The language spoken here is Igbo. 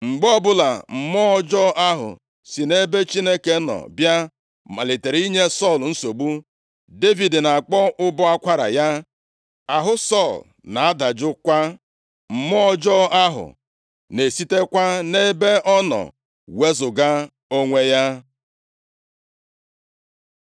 Mgbe ọbụla mmụọ ọjọọ ahụ si nʼebe Chineke nọ bịa malitere inye Sọl nsogbu, Devid na-akpọ ụbọ akwara ya. Ahụ Sọl na-adajụkwa, mmụọ ọjọọ ahụ na-esitekwa nʼebe ọ nọ wezuga onwe ya.